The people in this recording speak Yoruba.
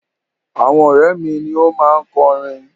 Àwọn ọ̀rẹ́ mi ni ó máa kọ orin.